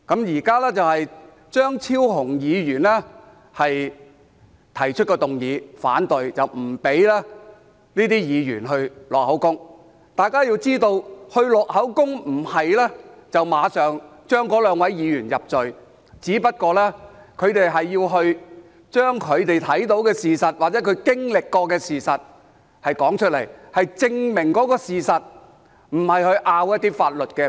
現在張超雄議員提出議案反對，拒絕讓這些保安員錄取口供，大家必須知道，錄取口供不等於馬上判該兩位議員入罪，只是要求他們說出所看到或經歷的事實，是證明事實，而不是爭拗法律觀點。